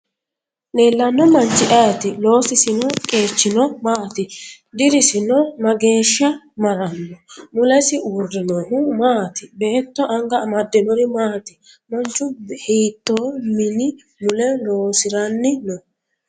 Leellanno manchi ayeeti ? Loosisi qeechino maati? Dirisino megeeshsha maranno? Mulesi uurrinohu maati? Beetto anga amaddinori maati? Manchu hiittoo mini mule loosiranni no?